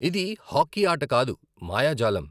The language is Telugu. ఇది హాకీ ఆట కాదు, మాయాజాలం.